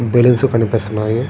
Balloons కనిపిస్తున్నాయి.